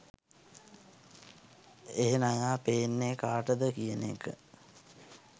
ඒ නයා පේන්නේ කාටද කියන එක